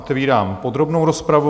Otevírám podrobnou rozpravu.